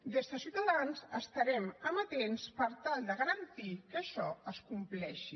des de ciutadans estarem amatents per tal de garantir que això es compleixi